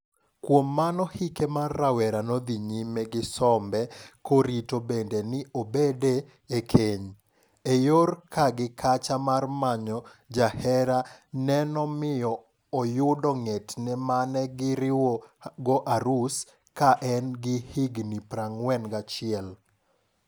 Kuom mano hike mar rawera no dhi nyime gi sombe korito bende ni obede e keny, e yor ka gi kacha mar manyo jahera ne nomiyo oyudo ng'etne mane gi riwogo arus ka en gi higni 41.